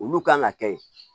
Olu kan ka kɛ